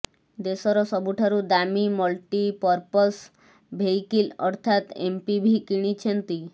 ଦେଶର ସବୁଠାରୁ ଦାମୀ ମଲ୍ଟି ପର୍ପସ୍ ଭେଇକିଲ୍ ଅର୍ଥାତ୍ ଏମପିିଭି କିଣିଛନ୍ତି